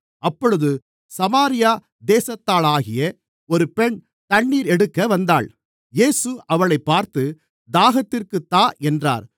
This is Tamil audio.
அப்பொழுது சமாரியா தேசத்தாளாகிய ஒரு பெண் தண்ணீர் எடுக்க வந்தாள் இயேசு அவளைப் பார்த்து தாகத்திற்குத் தா என்றார்